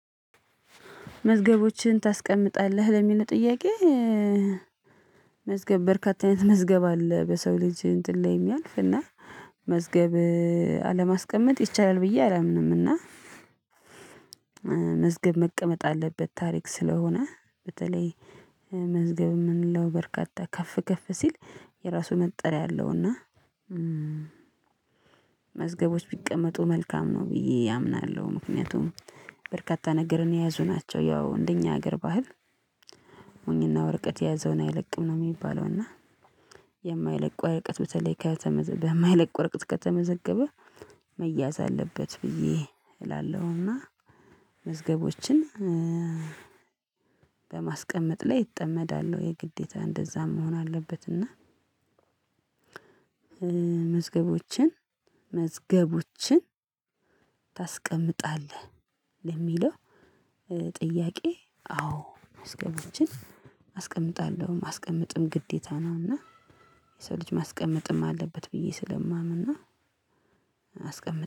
መዝገቦችን ታስቀምጣለህ ለሚል ጥያቄ መዝገብ በርካታ አይነት መዝገብ አለ በሰው ልጅ እንትን ላይ የሚያልፍ እና መዝገብ አለማስቀመጥ ይቻላል ብዬ አላምንም። እና መዝገብ መቀመጥ አለበት ታሪክ ስለሆነ በተለይ መዝገብ ምንለው በርካታ ከፍ ከፍ ሲል የራሱ መጠሪያ አለውና መዝገቦች ቢቀመጡ መልካም ነው ብዬ አምናለሁ። ምክንያቱም በርካታ ነገርን የያዙ ናቸው ያው እንደኛ ሀገር ባህል ሞኝና ወረቀት የያዘውን አይለቅም ነው የሚባለው። እና የማይለቁ ወረቀት በተለይ ከተመዘገበ የማይለቁ ወረቀት ከተመዘገበ መያዝ አለበት ብዬ እላለሁና። መዝገቦችን በማስቀመጥ ላይ እጠመዳለሁ ግዴታ እንደዛም መሆን አለበት። እና መዝገቦችን መዝገቦችን ታስቀምጣለህ ለሚለው ጥያቄ? አዎ መዝገቦችን አስቀምጣለሁ ማስቀመጥም ግዴታ ነው። እና የሰው ልጅ ማስቀመጥም አለበት ብዬ ስለማምና አስቀምጥ